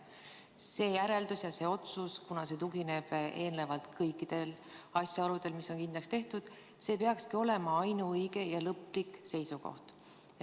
See järeldus ja see otsus, kuna see tugineb eelnevalt kõikidele asjaoludele, mis on kindlaks tehtud, peakski olema ainuõige ja lõplik seisukoht.